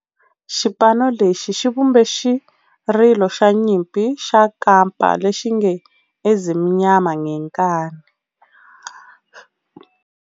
Xipano lexi xi vumbe xirilo xa nyimpi xa kampa lexi nge 'Ezimnyama Ngenkani'.